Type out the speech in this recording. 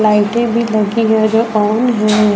लाइटें भी लगी हैं जो ऑन हैं।